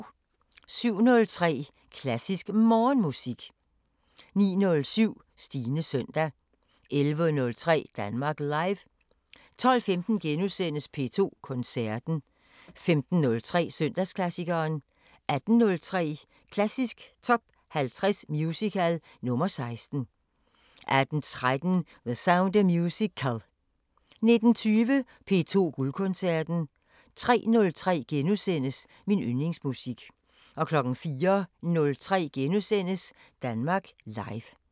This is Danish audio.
07:03: Klassisk Morgenmusik 09:07: Stines søndag 11:03: Danmark Live 12:15: P2 Koncerten * 15:03: Søndagsklassikeren 18:03: Klassisk Top 50 Musical – nr. 16 18:13: The Sound of Musical 19:20: P2 Guldkoncerten 03:03: Min yndlingsmusik * 04:03: Danmark Live *